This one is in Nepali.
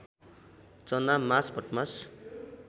चना मास भटमास